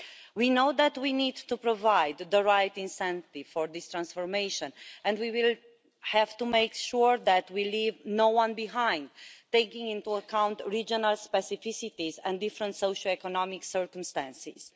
We know that we need to provide the right incentive for this transformation and we will have to make sure that we leave no one behind, taking into account regional specificities and different socio economic circumstances.